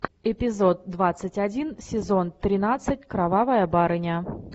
эпизод двадцать один сезон тринадцать кровавая барыня